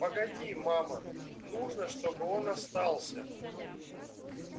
погоди мама нужно чтобы он остался